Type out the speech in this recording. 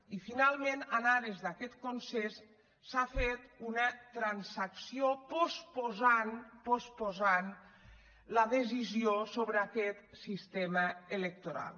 i finalment en ares d’aquest consens s’ha fet una transacció i s’ha posposat s’ha posposat la decisió sobre aquest sistema electoral